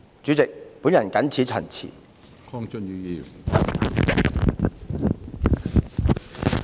主席，我謹此陳辭。